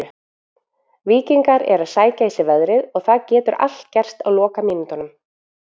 Víkingar eru að sækja í sig veðrið og það getur allt gerst á lokamínútunum.